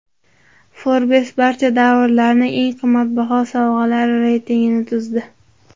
Forbes barcha davrlarning eng qimmatbaho sovg‘alari reytingini tuzdi.